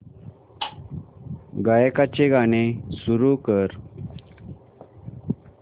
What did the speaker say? गायकाचे गाणे सुरू कर